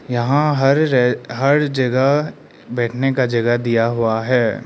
यहां हर जगह बैठने का जगह दिया हुआ है।